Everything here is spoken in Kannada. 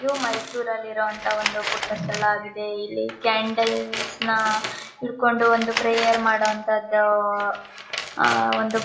ಇವು ಮೈಸೂರಲ್ಲಿ ಇರೋ ಅಂತ ಒಂದು ಪುಟ್ಟ ಸ್ಥಳ ಆಗಿದೆ ಇಲ್ಲಿ ಕ್ಯಾಂಡಲ್ಸ್ನ ಹಿಡ್ಕೊಂಡು ಒಂದು ಪ್ರೇಯರ್ ಮಾಡೋವಂಥದು ಆಹ್ಹ್ ಒಂದು--